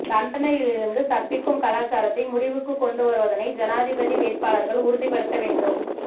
தண்டனையிலிருந்து தப்பிக்கும் கலாச்சாரத்தை முடிவுக்குக் கொண்டு வருவதனை ஜனாதிபதி வேட்பாளர்கள் உறுதிப்படுத்த வேண்டும்